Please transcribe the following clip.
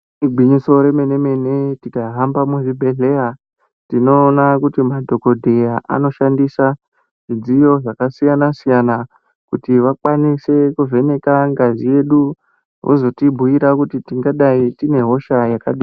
Igwinyiso remene mene tikahamba muzvibhedhlera tinoona kuti madhokodheya anoshandisa zvidziyo zvakasiyana siyana kuti vakwanise kuvheneka ngazi yedu vozotibhuira kuti tingadayi tine hosha yakadini.